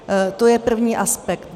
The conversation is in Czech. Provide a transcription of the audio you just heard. To je první aspekt.